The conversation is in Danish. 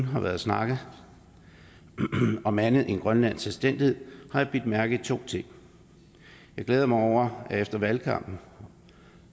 har været snakket om andet end grønlandsk selvstændighed har jeg bidt mærke i to ting jeg glæder mig efter valgkampen